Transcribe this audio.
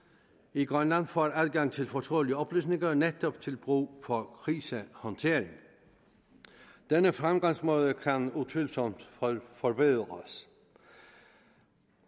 i grønland får adgang til fortrolige oplysninger netop til brug for krisehåndtering denne fremgangsmåde kan utvivlsomt forbedres